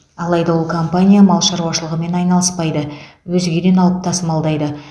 алайда ол компания мал шаруашылығымен айналыспайды өзгеден алып тасымалдайды